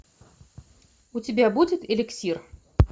у тебя будет элексир